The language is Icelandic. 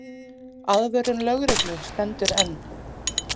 Aðvörun lögreglu stendur enn.